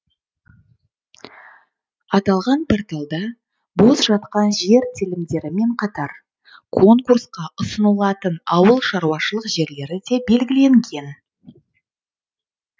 аталған порталда бос жатқан жер телімдерімен қатар конкурсқа ұсынылатын ауылшаруашылық жерлері де белгіленген